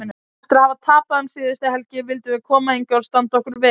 Eftir að hafa tapað um síðustu helgi vildum við koma hingað og standa okkur vel